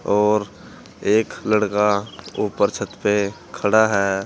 और एक लड़का ऊपर छत पे खड़ा है।